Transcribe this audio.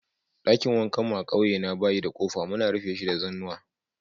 Dakin wankan mu a'ƙauye na bayi da kofa, muna rufe shi da zanuwa.